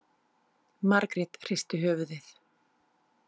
Margrét hristi höfuðið.